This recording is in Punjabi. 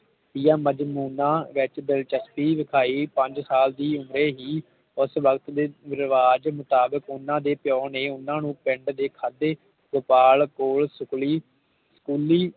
ਦੀਆਂ ਮਾਜਨੁਨਾ ਵਿਚ ਦਿਲਚਸਪੀ ਵੇਖਾਈ ਪੰਜ ਸਾਲ ਦੀ ਉਮਰੇ ਹੀ ਉਸ ਵਕਤ ਦੇ ਰਿਵਾਜ ਮੁਤਾਬਿਕ ਓਹਨਾ ਦੇ ਪਿਓ ਨੇ ਓਹਨਾ ਨੂੰ ਪਿੰਡ ਦੀ ਖਾਤਿਰ ਗੋਪਾਲ ਕੋਲ ਸੁਖਲੀ